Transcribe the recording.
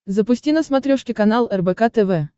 запусти на смотрешке канал рбк тв